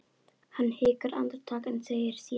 Hann hikar andartak en segir síðan